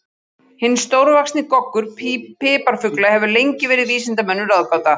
Hinn stórvaxni goggur piparfugla hefur lengi verið vísindamönnum ráðgáta.